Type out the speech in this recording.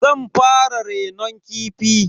Zan fara renon kifi.